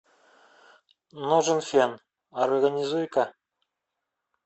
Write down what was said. нужен фен организуй ка